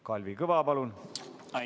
Kalvi Kõva, palun!